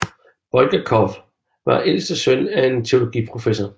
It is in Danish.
Bulgakov var ældste søn af en teologiprofessor